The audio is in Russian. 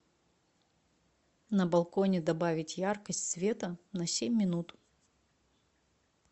на балконе добавить яркость света на семь минут